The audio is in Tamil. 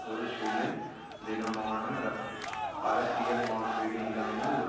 ஒரு சுயதீனமான அரசியல் மாற்றீடு இல்லாமல் ஒரு